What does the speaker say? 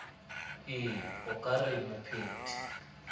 ee o ka re mopheti